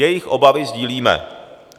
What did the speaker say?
Jejich obavy sdílíme.